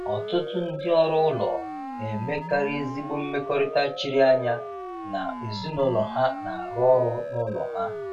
Ọtụtụ ndị ọrụ ụlọ na-emekarị ezigbo mmekọrịta chiri anya na ezinụlọ ha na-arụ ọrụ n’ụlọ ha.